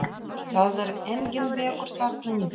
Það er enginn vegur þarna niðri.